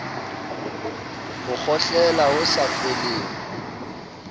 ho kgohlela ho sa feleng